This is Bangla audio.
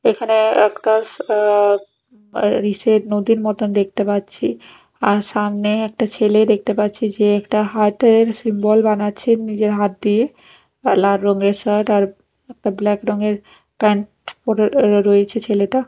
এখানে একটা অ্যা আর ইসের নদীর মত দেখতে পাচ্ছি আর সামনে একটা ছেলে দেখতে পাচ্ছি যে একটা হাতের সিম্বল বানাচ্ছে নিজের হাত দিয়ে কালা রঙের শার্ট আর একটা ব্ল্যাক রঙের প্যান্ট পরে র রয়েছে ছেলেটা।